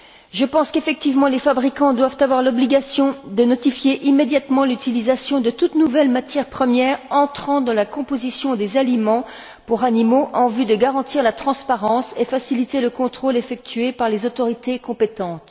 Je pense qu'effectivement les fabricants doivent avoir l'obligation de notifier immédiatement l'utilisation de toute nouvelle matière première entrant dans la composition des aliments pour animaux, en vue de garantir la transparence et faciliter le contrôle effectué par les autorités compétentes.